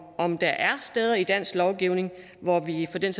om der er steder i dansk lovgivning hvor vi for den